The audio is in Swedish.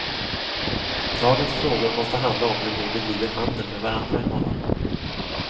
Dagens frågor måste handla om hur vi bedriver handel med varandra i morgon.